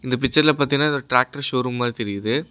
இந்த பிச்சர்ல பாத்தீங்ன்னா இது ஒரு ட்ராக்டர் ஷோரூம் மாரி தெரியுது.